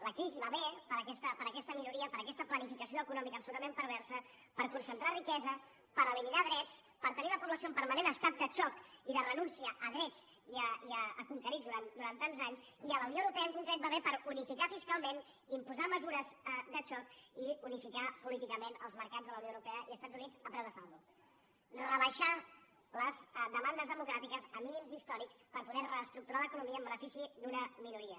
la crisi va bé per aquesta minoria per aquesta planificació econòmica absolutament perversa per concentrar riquesa per eliminar drets per tenir la població en permanent estat de xoc i de renúncia a drets conquerits durant tants anys i a la unió europea en concret li va bé per unificar fiscalment imposar mesures de xoc i unificar políticament els mercats de la unió europea i els estats units a preu de saldo rebaixar les demandes democràtiques a mínims històrics per poder reestructurar l’economia en benefici d’una minoria